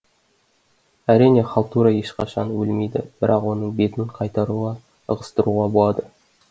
әрине халтура ешқашан өлмейді бірақ оның бетін қайтаруға ығыстыруға болады